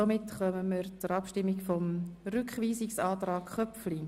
Somit kommen wir zur Abstimmung über den Rückweisungsantrag Köpfli.